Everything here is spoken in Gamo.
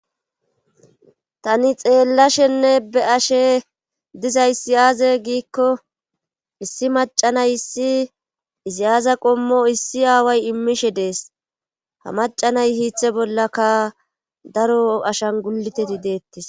Tani xeellashenne be ashe dizaysi aaze giikko issi macanay issi iziyaaza qommo issi aaway immishe dees ha macanay hiithe bollaka daro ashan guliteti deettis